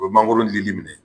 O bɛ mangoro lili minɛ.